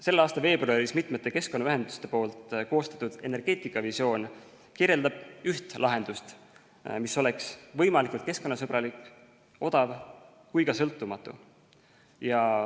Selle aasta veebruaris mitme keskkonnaühenduse koostatud energeetikavisioon kirjeldab üht lahendust, mis oleks võimalikult keskkonnasõbralik, odav ja ka sõltumatu.